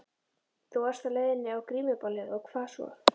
Þú varst á leiðinni á grímuballið og hvað svo?